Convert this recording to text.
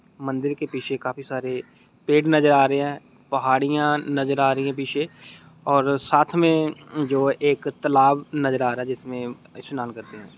मंदिर के पीछे काफी सारे पेड़ नजर आ रहे है पहाड़िया नजर आ रही है पीछे और साथ मे जो एक तलाब नजर आ रहा है जिसमे स्नान करते है।